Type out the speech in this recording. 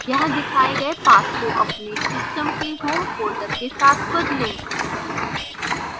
यहाँ दिखाए गए path को अपने system के home folder के साथ बदलें